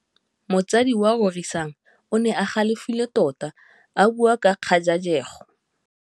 Motsadi wa Rorisang o ne a galefile tota a bua ka kgajajegô.